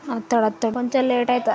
ఆతడు ఆతడు కొంచెం లేట్ అవుతా--